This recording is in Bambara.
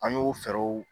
An y'o fɛɛrɛw